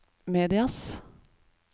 medias